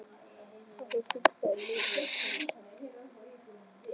Varð sú skyndiferð mér mikilsverð fyrir tvennar sakir.